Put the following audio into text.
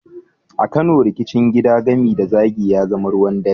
A Kano, rikicin gida, gami da zagi, ya zama ruwan dare.